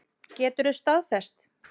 Geturðu staðfest?